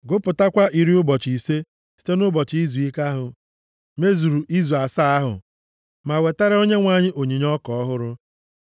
Gụpụtakwa iri ụbọchị ise site nʼụbọchị izuike ahụ mezuru izu asaa ahụ ma wetara Onyenwe anyị onyinye ọka ọhụrụ.